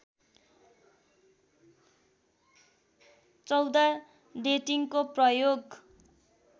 १४ डेटिङको प्रयोग